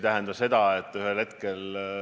Peredega käiakse reisimas Rootsis.